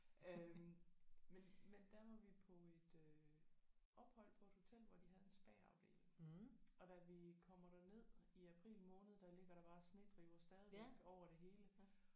Øh men men der var vi på et øh ophold på et hotel hvor de havde en spaafdeling og da vi kommer derned i april måned der ligger der bare snedriver stadigvæk over det hele